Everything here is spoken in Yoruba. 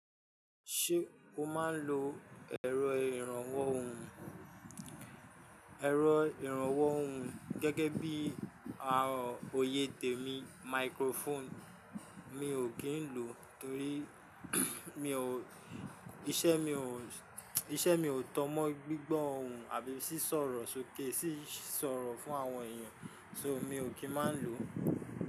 Ṣé o máa ń lo ẹ̀rọ ìrànwọ́ ohùn? Ẹ̀rọ ìrànwọ́ ohùn gẹ́gẹ́ bí i oyè tèmi microphone mi ò kì ń lò ó torí mi ò, iṣẹ́ mi ò, iṣẹ́ mi ò tan mọ́ gbígbọ́ ohùn àbí sì sọ̀rọ̀ sókè sì sọ̀rọ̀ fún àwọn èèyàn, so mi ò kì í máa ń lò ó.